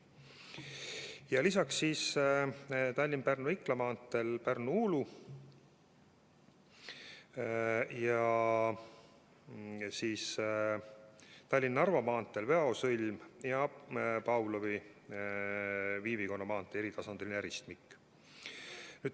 Ja lisaks siis Tallinna–Pärnu–Ikla maanteel Pärnu–Uulu lõik ja Tallinna–Narva maanteel Väo sõlm ja Sillamäel Pavlovi tänava ja Viivikonna maantee eritasandiline ristmik.